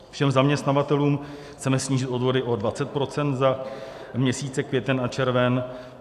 Všem zaměstnavatelům chceme snížit odvody o 20 % za měsíce květen a červen;